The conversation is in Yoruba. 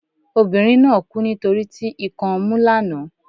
obìnrín na kú nitoriti ikan ọmu lana